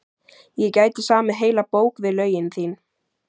Ég gæti samið heila bók við lögin þín.